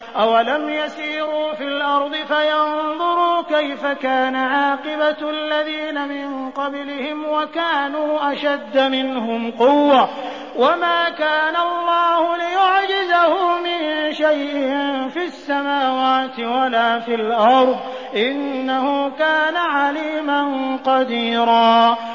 أَوَلَمْ يَسِيرُوا فِي الْأَرْضِ فَيَنظُرُوا كَيْفَ كَانَ عَاقِبَةُ الَّذِينَ مِن قَبْلِهِمْ وَكَانُوا أَشَدَّ مِنْهُمْ قُوَّةً ۚ وَمَا كَانَ اللَّهُ لِيُعْجِزَهُ مِن شَيْءٍ فِي السَّمَاوَاتِ وَلَا فِي الْأَرْضِ ۚ إِنَّهُ كَانَ عَلِيمًا قَدِيرًا